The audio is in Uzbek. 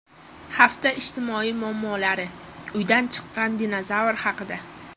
Hafta ijtimoiy muammolari: Uydan chiqqan dinozavr haqida.